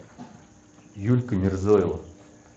юлька мирзоева